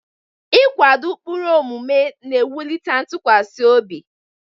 Ịkwado ụkpụrụ omume na-ewulite ntụkwasị obi.